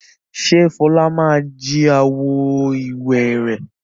Ṣèbí Fọlá ma jí àwo-ìwẹ̀ rẹ̀?